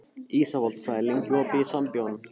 Ísafold, hvað er lengi opið í Sambíóunum?